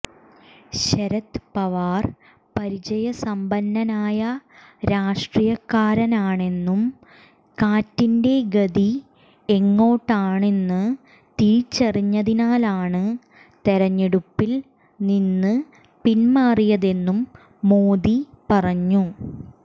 ശരദ് പവാർ പരിചയസമ്പന്നനായ രാഷ്ട്രീയക്കാരനാണെന്നും കാറ്റിന്റെ ഗതി എങ്ങോട്ടാണെന്ന് തിരിച്ചറിഞ്ഞതിനാലാണ് തെരഞ്ഞെടുപ്പിൽ നിന്ന് പിന്മാറിയതെന്നും മോദി പറഞ്ഞു